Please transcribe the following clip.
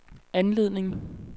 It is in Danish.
anledning